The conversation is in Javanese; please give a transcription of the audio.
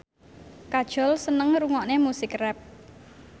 Kajol seneng ngrungokne musik rap